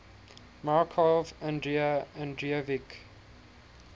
markov andrei andreevich